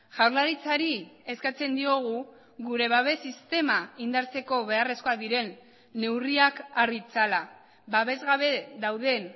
jaurlaritzari eskatzen diogu gure babes sistema indartzeko beharrezkoak diren neurriak har ditzala babes gabe dauden